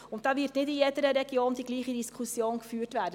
Dabei wird nicht in jeder Region die gleiche Diskussion geführt werden.